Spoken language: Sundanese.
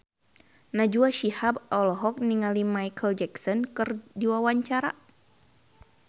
Najwa Shihab olohok ningali Micheal Jackson keur diwawancara